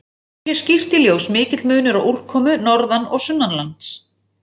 Kemur hér skýrt í ljós mikill munur á úrkomu norðan- og sunnanlands.